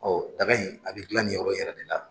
Ɔ daga in a bɛ dilan nin yɔrɔ in yɛrɛ de la.